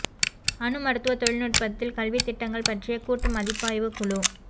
அணு மருத்துவ தொழில்நுட்பத்தில் கல்வித் திட்டங்கள் பற்றிய கூட்டு மதிப்பாய்வு குழு